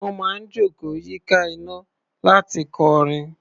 Wọ́n máa ń jókòó yíká iná láti kọrin.